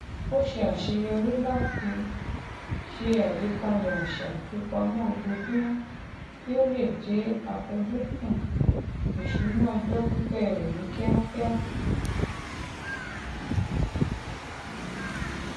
ó ṣe àṣeyọrí láti ṣe àgbékalẹ àṣà ìfipamọ ojoojúmọ kí ó le dé àfojúsùn ìṣúná ọjọ pípẹ rẹ ní kíákíá